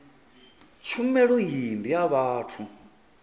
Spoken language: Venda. tshumelo iyi ndi ya vhathu